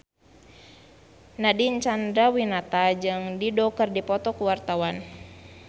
Nadine Chandrawinata jeung Dido keur dipoto ku wartawan